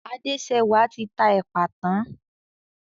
Adéṣẹwà ti ta èpà tán.